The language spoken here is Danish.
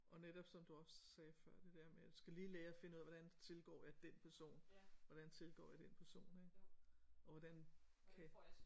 Og netop som du også sagde før det der med jeg skal lige lære at finde ud af hvordan tilgår jeg den person hvordan tilgår jeg den person og hvordan kan